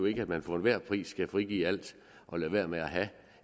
ikke man for enhver pris skal frigive alt og lade være med at have